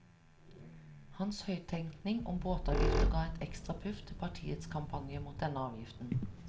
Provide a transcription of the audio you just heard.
Hans høyttenkning om båtavgifter ga et ekstra puff til partiets kampanje mot denne avgiften.